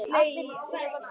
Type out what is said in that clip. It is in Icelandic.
Allir nema Brimar í Vogi.